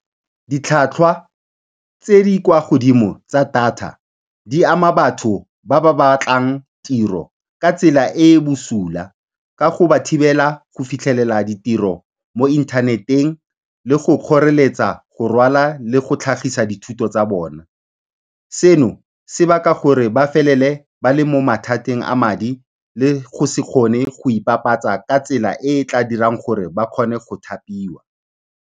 Ditlhwatlhwa tse di kwa godimo tsa data di ama batho ba ba batlang tiro ka tsela e e bosula ka go ba thibela go fitlhelela ditiro mo inthaneteng le go kgoreletsa go rwala le go tlhagisa dithuto tsa bona. Seno, se baka gore ba felele ba le mo mathateng a madi le go se kgone go ipapatsa ka tsela e e tla dirang gore ba kgone go thapiwa.